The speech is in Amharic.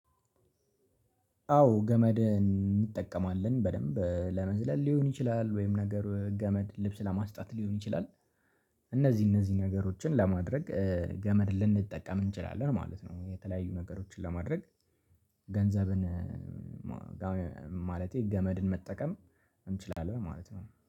አዎ ገመድ እንጠቀማለን በደንብ ለመዝለል ሊሆን ይችላል ወይም ነገር ገመድ ልብስ ለማስጣት ሊሆን ይችላል። እነዚህ እነዚህ ነገሮችን ለማድረግ ገመድ ልንጠቀም እንችላለን ማለት ነው። የተለያዩ ነገሮችን ለማድረግ ገንዘብን ማለቴ ገመድን መጠቀም እንችላለን ማለት ነው።